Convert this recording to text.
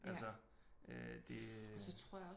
Altså øh det øh